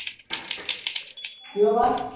কিয় বা